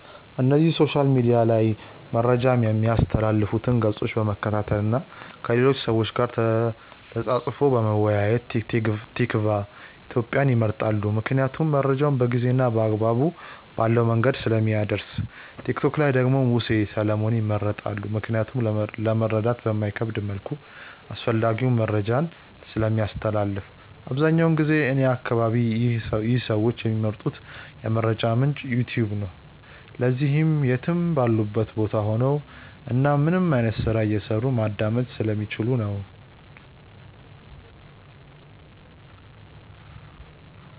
እነዚህ ሶሻል ሚድያ ላይ መረጃ ሚያስተላልፉትን ገፆች በመከታተል እና ከሌሎች ሰዎች ጋር ተፃፅፎ በመወያየት። ቲክቫ ኢትዮጵያን ይመርጣሉ ምክንያቱም መረጃውን በጊዜ እና አግባብ ባለው መንገድ ስለሚያደርስ። ቲክቶክ ላይ ደግሞ ሙሴ ሰለሞንን ይመርጣሉ ምክንያቱም ለመረዳት በማይከብድ መልኩ አስፈላጊውን መረጃን ስለሚያስተላልፍ። አብዛኛውን ጊዜ እኔ አከባቢ ይህ ሰዎች ሚመርጡት የመረጃ ምንጭ "ዩትዩብ" ነው። ለዚህም ምክንያት የትም ባሉበት ቦታ ሆነው እናም ምንም አይነት ስራ እየሰሩ ማዳመጥ ስለሚችሉ ነው።